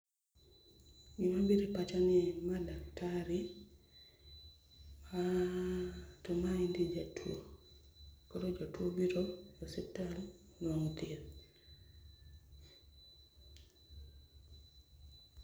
Gima biro e pacha ni ma daktari, aah to maendi jatuo. Koro jatuo biro e osiptal nwang'o thieth.